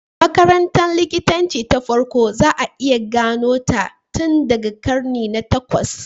Makarantar likitanci ta farko za a iya gano ta tun daga karni na takwas.